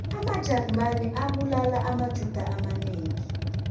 amajarimane abulala amajuda amanengi